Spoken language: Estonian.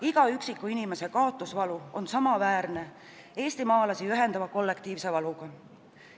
Iga üksiku inimese kaotusvalu on samaväärne eestimaalasi ühendava kollektiivse valuga.